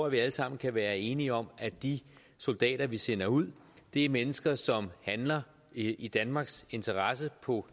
at vi alle sammen kan være enige om at de soldater vi sender ud er mennesker som handler i danmarks interesse og på